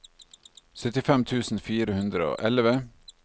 syttifem tusen fire hundre og elleve